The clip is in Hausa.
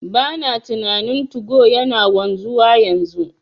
Bana tunanin 2go yana wanzuwa yanzu,